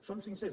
són cinc cents